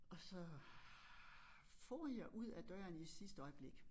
Og så for jeg ud ad døren i sidste øjeblik